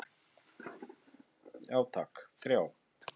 Já takk, þrjá.